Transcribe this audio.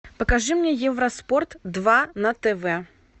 покажи мне евроспорт два на тв